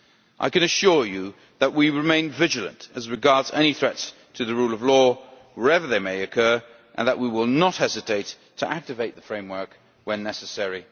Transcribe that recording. I can assure you that we remain vigilant as regards any threats to the rule of law, wherever they may occur, and that we will not hesitate to activate the Framework when necessary.